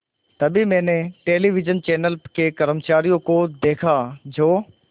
तभी मैंने television channel के कर्मचारियों को देखा जो